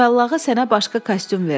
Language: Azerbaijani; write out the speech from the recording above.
Cüvəllağı sənə başqa kostyum verər.